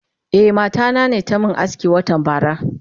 Eh mata nane tamin aski watan bara.